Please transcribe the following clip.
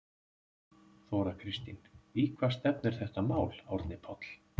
Þóra Kristín: Í hvað stefnir þetta mál Árni Páll?